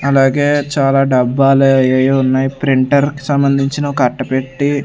అలాగే చాలా డబ్బాలు అయెయెయో ఉన్నాయి ప్రింటర్ కి సంబంధించిన ఒక అట్టిపెట్టి.